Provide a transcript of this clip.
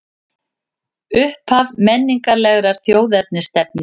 Upphaf menningarlegrar þjóðernisstefnu